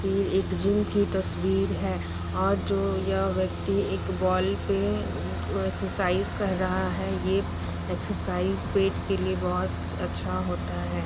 ये एक जिम जिनकी तस्वीर है और जो ये व्यक्ति एक बॉल पे एक्सरसाइज कर रहा है। यह एक्सरसाइज पेट के लिए बहुत अच्छा होता है।